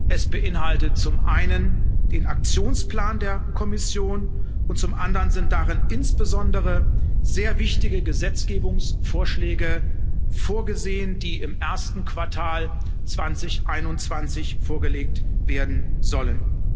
Es beinhaltet zum einen den Aktionsplan der Kommission, und zum anderen sind darin insbesondere sehr wichtige Gesetzgebungsvorschläge vorgesehen, die im ersten Quartal 2021 vorgelegt werden sollen.